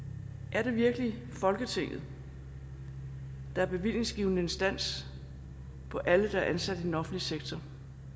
er det virkelig folketinget der er bevillingsgivende instans for alle der er ansat i den offentlige sektor